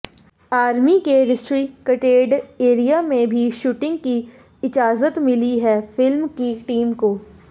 army के restricted area में भी शूटिंग की इजाजत मिली है फिल्म की टीम को